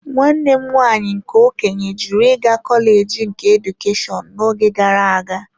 Nwanne m nwanyị nke okenye jụrụ ịga kọleji nke Edukeshọn n'oge gara aga.